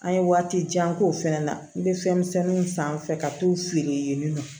An ye waati jan k'o fɛnɛ na n bɛ fɛn misɛnninw san n fɛ ka t'u feere yen nɔ